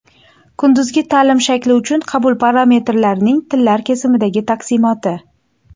Kunduzgi ta’lim shakli uchun qabul parametrlarining tillar kesimidagi taqsimoti.